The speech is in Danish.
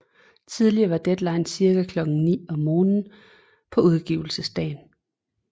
Tidligere var deadline cirka klokken ni om morgenen på udgivelsesdagen